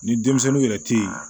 Ni denmisɛnninw yɛrɛ te yen